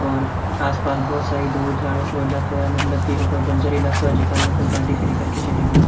और आसपास बहुत सारी धुर धार ओ इलाकों है मतलब की ओ कोई बंजर इलाको है जेका में कोई गाड़ी खड़ी करके चले गयो।